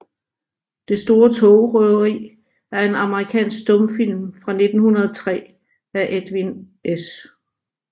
Det store togrøveri er en amerikansk stumfilm fra 1903 af Edwin S